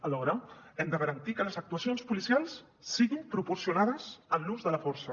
alhora hem de garantir que les actuacions policials siguin proporcionades en l’ús de la força